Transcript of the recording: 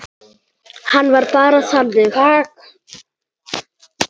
Hann var bara þannig.